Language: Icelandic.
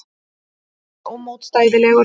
Hann var ómótstæðilegur.